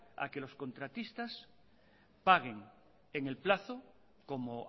a que los contratistas paguen en el plazo como